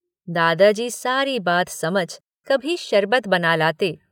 दादाजी सारी बात समझ कभी शरबत बना लाते।